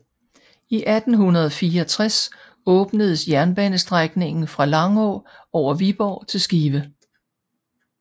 I 1864 åbnedes jernbanestrækningen fra Langå over Viborg til Skive